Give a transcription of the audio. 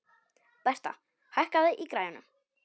Bertha, hækkaðu í græjunum.